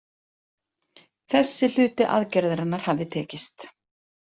Þessi hluti aðgerðarinnar hafði tekist.